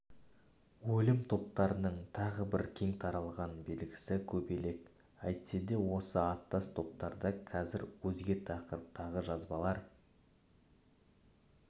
өлім топтарының тағы бір кең таралған белгісі көбелек әйтседе осы аттас топтарда қазір өзге тақырыптағы жазбалар